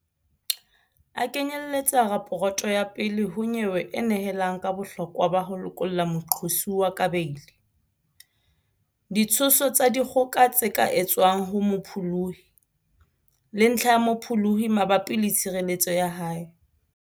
A knye-lletsa raporoto ya pele ho nyewe e nehelang ka bohlokwa ba ho lokolla moqosuwa ka beili, ditsho-so tsa dikgoka tse ka etswang ho mopholohi, le ntlha ya mopholohi mabapi le tshireletseho ya hae.